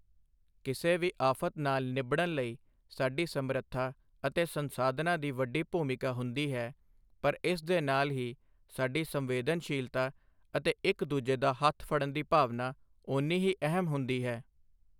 ਕਿਸੇ ਵੀ ਆਫ਼ਤ ਨਾਲ ਨਿੱਬੜਣ ਲਈ ਸਾਡੀ ਸਮਰੱਥਾ ਅਤੇ ਸੰਸਾਧਨਾਂ ਦੀ ਵੱਡੀ ਭੂਮਿਕਾ ਹੁੰਦੀ ਹੈ ਪਰ ਇਸ ਦੇ ਨਾਲ ਹੀ ਸਾਡੀ ਸੰਵੇਦਨਸ਼ੀਲਤਾ ਅਤੇ ਇੱਕ ਦੂਜੇ ਦਾ ਹੱਥ ਫੜਨ ਦੀ ਭਾਵਨਾ ਓਨੀ ਹੀ ਅਹਿਮ ਹੁੰਦੀ ਹੈ।